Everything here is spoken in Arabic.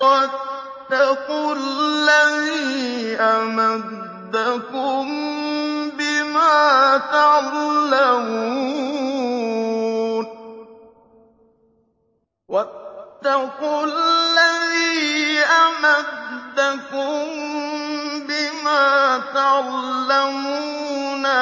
وَاتَّقُوا الَّذِي أَمَدَّكُم بِمَا تَعْلَمُونَ